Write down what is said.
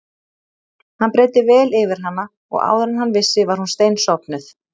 Hann breiddi vel yfir hana og áður en hann vissi var hún steinsofnuð.